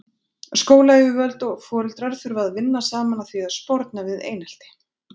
Skólayfirvöld og foreldrar þurfa að vinna saman að því að sporna við einelti.